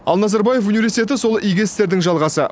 ал назарбаев университеті сол игі істердің жалғасы